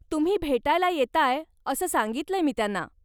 तुम्ही भेटायला येताय असं सांगितलंय मी त्यांना.